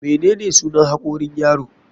Menene sunan hakorin yaro?